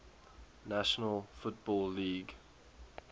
national football league